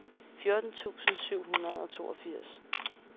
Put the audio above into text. fjorten tusind syv hundrede og toogfirs